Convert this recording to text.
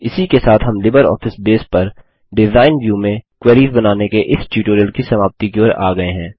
इसी के साथ हम लिबरऑफिस बेस पर डिज़ाइन व्यू में क्वेरीस बनाने के इस ट्यूटोरियल की समाप्ति की ओर आ गये हैं